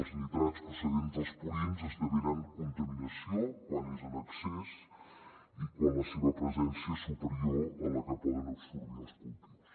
els nitrats procedents dels purins esdevenen contaminació quan és en excés i quan la seva presència és superior a la que poden absorbir els cultius